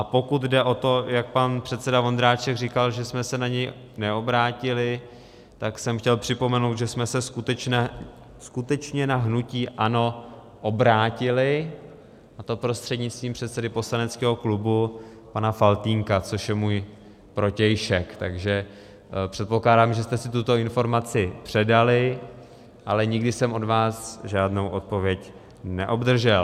A pokud jde o to, jak pan předseda Vondráček říkal, že jsme se na něj neobrátili, tak jsem chtěl připomenout, že jsme se skutečně na hnutí ANO obrátili, a to prostřednictvím předsedy poslaneckého klubu pana Faltýnka, což je můj protějšek, takže předpokládám, že jste si tuto informaci předali, ale nikdy jsem od vás žádnou odpověď neobdržel.